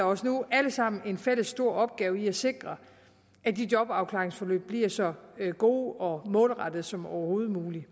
os nu alle sammen en fælles stor opgave i at sikre at de jobafklaringsforløb bliver så gode og målrettede som overhovedet muligt